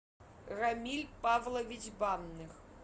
рамиль павлович банных